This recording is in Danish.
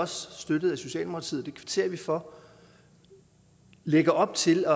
støttet af socialdemokratiet og det kvitterer vi for lægger op til